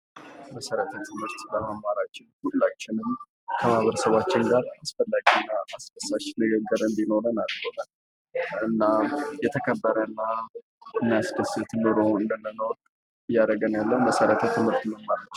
መሰረታዊ ትምህርት በመማራችን ሁላችንም ከቤተሰባችን ጋር አስፈላጊና አስደሳች ንግግር እንዲኖረን አድርጎታል። እና የተከበረ እና የሚያስደስት ኑሮ እንድንኖር እያደረገን ያለው መሰረታት ትምህርት መማራችን ነው።